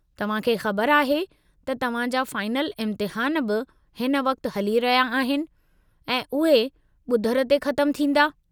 तव्हां खे ख़बर आहे त तव्हां जा फ़ाईनल इम्तिहान बि हिन वक़्ति हली रहिया आहिनि ऐं उहे बुधरु ते ख़तमु थींदा।